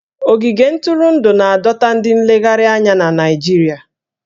Ogige ntụrụndụ na-adọta ndị nlegharị anya na Naịjirịa